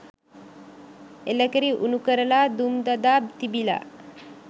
එළකිරි උණුකරලා දුම් දදා තිබිලා